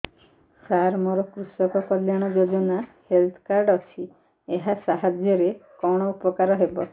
ସାର ମୋର କୃଷକ କଲ୍ୟାଣ ଯୋଜନା ହେଲ୍ଥ କାର୍ଡ ଅଛି ଏହା ସାହାଯ୍ୟ ରେ କଣ ଉପକାର ହବ